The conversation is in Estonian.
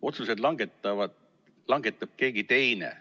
Otsuseid langetab keegi teine.